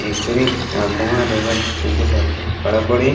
एकरे अगवा रउआ दू गो लड़कीन खड़ा बाड़ी।